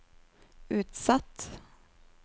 utsatt